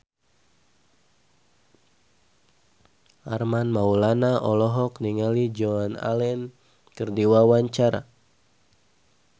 Armand Maulana olohok ningali Joan Allen keur diwawancara